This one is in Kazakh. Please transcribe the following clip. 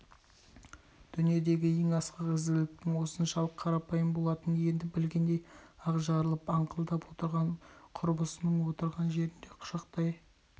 дүниедегі ең асқақ ізгіліктің осыншалық қарапайым болатынын енді білгендей ақ жарылып аңқылдап отырған құрбысын отырған жерінде құшақтай